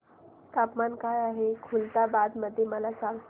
तापमान काय आहे खुलताबाद मध्ये मला सांगा